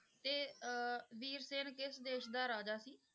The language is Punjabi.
ਤੇ ਅਹ ਵੀਰ ਸੈਨ ਕਿਸ ਦੇਸ ਦਾ ਰਾਜਾ ਸੀ?